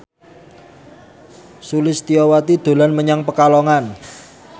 Sulistyowati dolan menyang Pekalongan